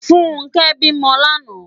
Funke bi mò làná